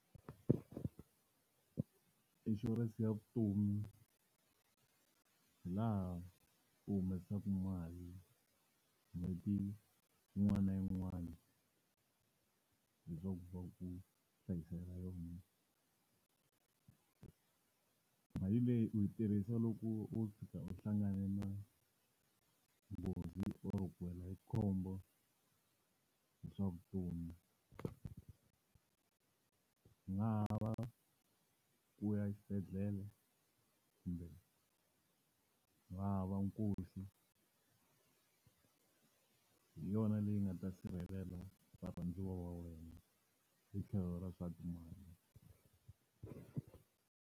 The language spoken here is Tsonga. Inshurense ya vutomi hilaha u humesaka mali n'hweti yin'wana na yin'wana, leswaku va ku hlayisela yona. Mali leyi u yi tirhisa loko o tshuka u hlangane na nghozi or ku wela hi khombo hi swa vutomi. Ku nga va ku ya exibedhlele kumbe ku nga va nkosi, hi yona leyi nga ta sirhelela varhandziwa va wena hi tlhelo ra swa timali.